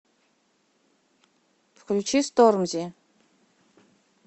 включи стормзи